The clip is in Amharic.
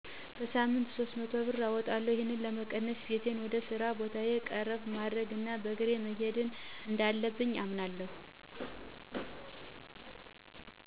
በሳምንት 300 ብር አወጣለሁ። ይህን ለመቀነስ ቤቴን ወደ ስራ ቦታየ ቀረብ ማድረግ እና በእግሬ መሄድ እንዳለብኝ አምናለሁ።